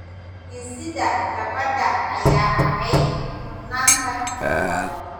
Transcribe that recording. Dhisidda nabadda ayaa ahayd mudnaanta koowaad.